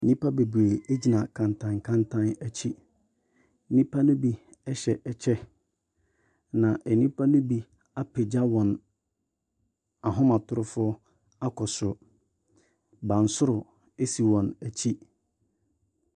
Nnipa bebree egyina kantankantan akyi. Nnipa no bi ɛhyɛ ɛkyɛ. Na nnipa no bi apagya wɔn ahomatrofo akɔ soro. Bansoro esi wɔn akyi.